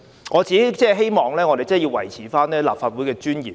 我只希望我們能維持立法會的尊嚴。